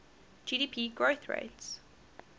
gdp growth rates